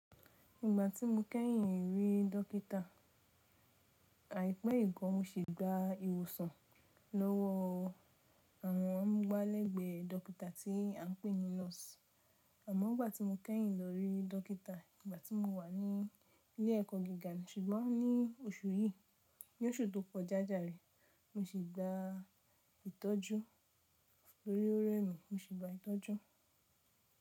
Ìgbà tí mo kẹ́yìn rí dókítà, àìpẹ́ ìgan mo se gba ìwòsàn lówó àwọn ọmúgbá lẹ́gbẹ́ dókítà tí à ń pè ní nọ̀ọ̀sì. Àmọ́ ìgbà tí mo kẹ́yìn lọ rí dókítà ìgbà tí mo wà ní ilé ẹ̀kọ́ gíga ṣùgbọ́n ní oṣù yìí, ní oṣù tó kọjájà rẹ́, mo sì gba ìtọ́jú. Lórí òrẹ́ mi mo sì gba ìtọ́jú.